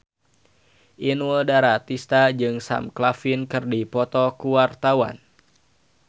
Inul Daratista jeung Sam Claflin keur dipoto ku wartawan